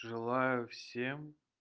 желаю всем